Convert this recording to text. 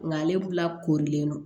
Nga ale la korilen don